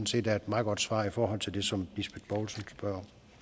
set er et meget godt svar i forhold til det som